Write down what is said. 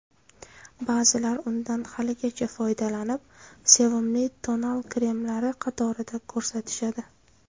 Ba’zilar undan haligacha foydalanib, sevimli tonal kremlari qatorida ko‘rsatishadi.